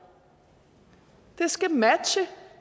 det skal matche